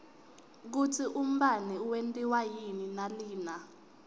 kutsi umbane wentiwa yini nalina